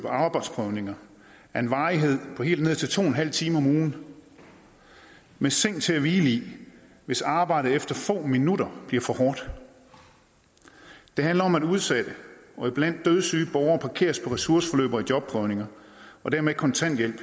arbejdsprøvninger af en varighed på helt ned til to en halv time om ugen med seng til at hvile i hvis arbejdet efter få minutter bliver for hårdt det handler om at udsatte og iblandt dødssyge borgere parkeres på ressourceforløb og i jobprøvninger og dermed kontanthjælp